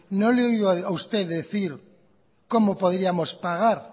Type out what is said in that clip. no le he oído a usted decir cómo podríamos pagar